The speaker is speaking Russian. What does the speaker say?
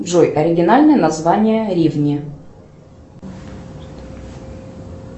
джой оригинальное название ривни